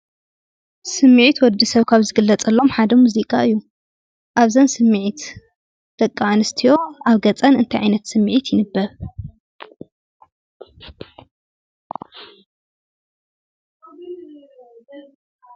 ስምዒት ወዲ ሰብ ካብ ዝግለፀሎም ሓደ ሙዚቃ እዩ፡፡ አብዛ ስምዒት ደቂ አንስትዮ አብ ገፀን እንታይ ዓይነት ስምዒት ይንበብ?